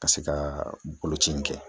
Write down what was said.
Ka se ka boloci in kɛ